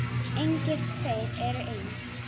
Engir tveir eru eins.